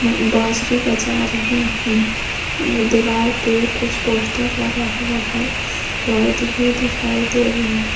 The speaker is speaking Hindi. बांसुरी बजा रहे हैं दीवाल पे कुछ पोस्टर लगा हुआ है लाइट भी दिखाई दे रहे हैं।